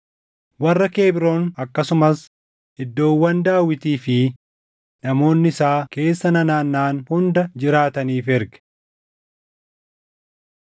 warra Kebroon akkasumas iddoowwan Daawitii fi namoonni isaa keessa nanaannaʼan hunda jiraataniif erge.